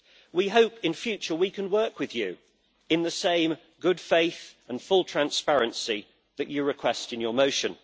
We hope in future we can work with you in the same good faith and full transparency that you request in your motion.